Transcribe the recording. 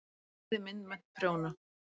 Smíði- myndmennt- prjóna